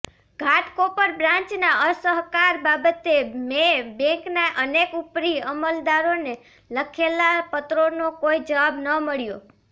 ઘાટકોપર બ્રાન્ચના અસહકાર બાબતે મેં બૅન્કના અનેક ઉપરી અમલદારોને લખેલા પત્રોનો કોઈ જવાબ ન મળ્યો